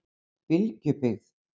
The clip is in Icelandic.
Bylgjubyggð